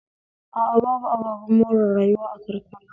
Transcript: A a babu ababen more rayuwa a karkara